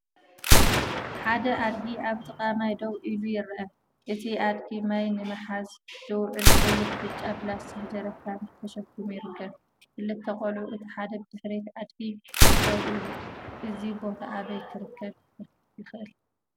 ሓደ ኣድጊ ኣብ ጥቓ ማይ ደው ኢሉ ይርአ። እቲ ኣድጊ ማይ ንምሓዝ ዝውዕል ቀይሕን ብጫን ፕላስቲክ ጀሪካን ተሰኪሙ ይርከብ። ክልተ ቆልዑ እቲ ሓደ ብድሕሪ ኣድጊ ደው ኢሉ፡፡ እዚ ቦታ ኣበይ ክርከብ ይከኣል?